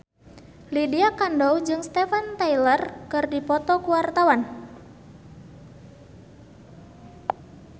Lydia Kandou jeung Steven Tyler keur dipoto ku wartawan